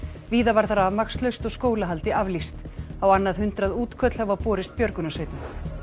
víða varð rafmagnslaust og skólahaldi aflýst á annað hundrað útköll hafa borist björgunarsveitum